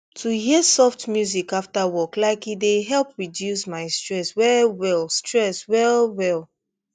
to hear soft music after work like e dey help reduce my stress well well stress well well